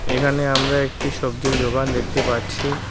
এখানে আমরা একটি সবজির দোকান দেখতে পাচ্ছি।